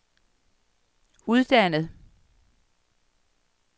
uddannet